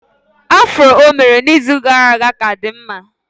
Afro o mere n'izu gara aga ka dị mma